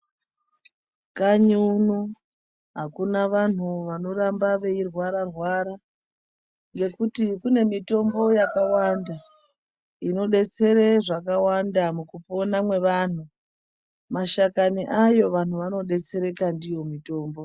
Kanyiuno hakuna anhu anoramba eirwara-rwara. Ngekuti kune mitombo yakawanda inodetsere zvakawanda mukupona mwevanhu. Mashakani ayo, vanhu vanodetsereka ndiyo mitombo.